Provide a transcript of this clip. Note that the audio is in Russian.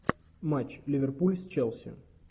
матч ливерпуль с челси